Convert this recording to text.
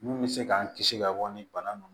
Mun bɛ se k'an kisi ka bɔ ni bana ninnu